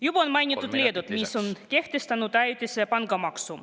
Juba on mainitud Leedut, kes on kehtestanud ajutise pangamaksu.